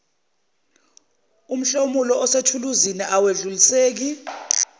mhlomulo osethuluzini awedluliseki